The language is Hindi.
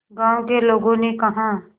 गांव के लोगों ने कहा